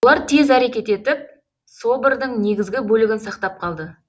олар тез әрекет етіп собордың негізгі бөлігін сақтап қалды